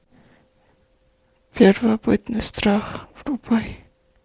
первобытный страх врубай